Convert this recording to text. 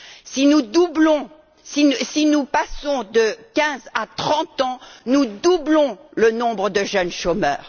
Si nous passons de 15 à 30 ans, nous doublons le nombre de jeunes chômeurs.